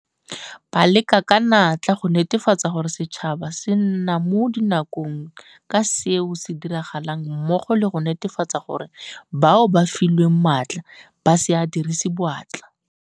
Ba leka ka natla go netefatsa gore setšhaba se nna mo dinakong ka seo se diragalang mmogo le go netefatsa gore bao ba filweng maatla ba se a dirise boatla.